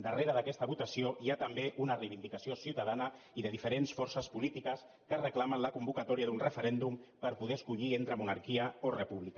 darrere d’aquesta votació hi ha també una reivindicació ciutadana i de diferents forces polítiques que reclamen la convocatòria d’un referèndum per poder escollir entre monarquia o república